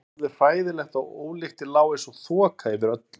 Það var alveg hræðilegt og ólyktin lá einsog þoka yfir öllu.